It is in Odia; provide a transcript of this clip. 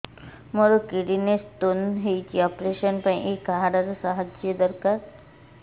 ମୋର କିଡ଼ନୀ ସ୍ତୋନ ହଇଛି ଅପେରସନ ପାଇଁ ଏହି କାର୍ଡ ର ସାହାଯ୍ୟ ଦରକାର